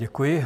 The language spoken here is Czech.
Děkuji.